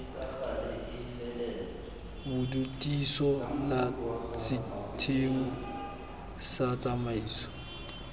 bodutiso la setheo sa tsamaiso